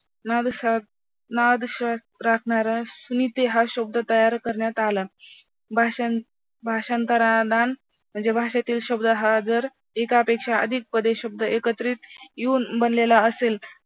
हा शब्द तयार करण्यात आला, भाषां भाषांतरादान म्हणजे भाषेतील शब्द हा जर एकापेक्षा अधिक शब्द एकत्रित येऊन बनलेला असेल